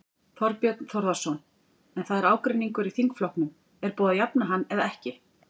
Þorbjörn Þórðarson: En það er ágreiningur í þingflokknum, er búið að jafna hann eða ekki?